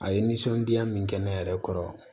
A ye nisɔndiya min kɛ ne yɛrɛ kɔrɔ